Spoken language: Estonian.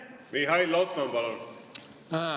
Mihhail Lotman, palun!